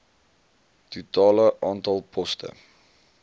totale aantal poste